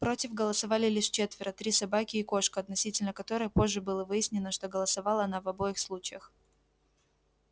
против голосовали лишь четверо три собаки и кошка относительно которой позже было выяснено что голосовала она в обоих случаях